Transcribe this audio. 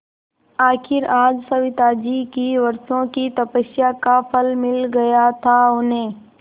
आखिर आज सविताजी की वर्षों की तपस्या का फल मिल गया था उन्हें